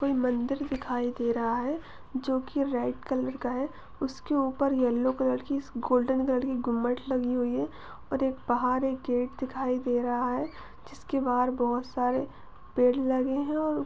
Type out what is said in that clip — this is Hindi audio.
कोई मंदिर दिखाई दे रहा है जो की रेड कलर का है और उसके ऊपर येल्लो कलर की गोल्डन कलर की घूमट लगी हुई है और बाहर एक गेट दिखाई दे रहा है जिसके बाहर बहुत सारे पेड़ लगे हुए हैं और--